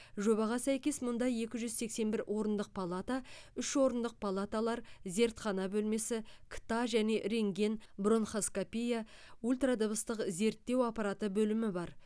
жобаға сәйкес мұнда екі жүз сексен бір орындық палата үш орындық палаталар зертхана бөлмесі кт және рентген бронхоскопия ультрадыбыстық зерттеу аппараты бөлімі бар